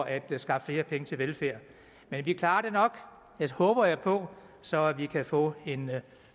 at skaffe flere penge til velfærd men vi klarer det nok det håber jeg på så vi kan få en